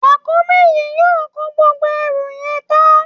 Ràkúnmí yìí yóò kó gbogbo ẹrù yẹn tán